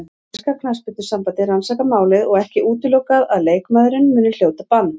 Enska knattspyrnusambandið rannsakar málið og ekki útilokað að leikmaðurinn muni hljóta bann.